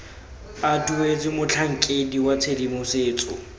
a duetswe motlhankedi wa tshedimosetso